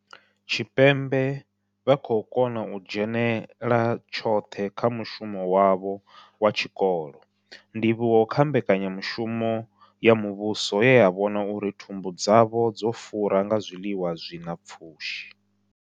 Tshipembe vha khou kona u dzhenela tshoṱhe kha mushumo wavho wa tshikolo, ndivhuwo kha mbekanya mushumo ya muvhuso ye ya vhona uri thumbu dzavho dzo fura nga zwiḽiwa zwi na pfushi.